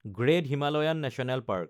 great Himalayan national park